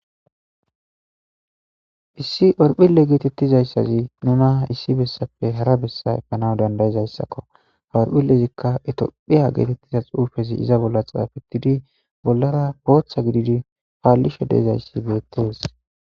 issi orphille geetettizayssazi nuna issi bessappe hara bessa efanaw dandayizayssakko horphillezikka etophiya geetettiza xuufezi iza bolla xaafetidi bollara booththa gididi paallisho deezayssi beettees